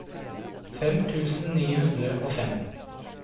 fem tusen ni hundre og fem